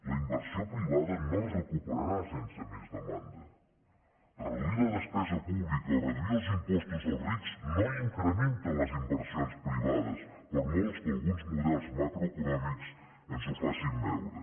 la inversió privada no es recuperarà sense més demanda reduir la despesa pública o reduir els impostos als rics no incrementa les inversions privades per molt que alguns models macroeconòmics ens ho facin veure